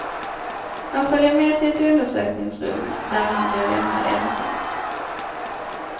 Han följer med till ett undersökningsrum där han blir lämnad ensam.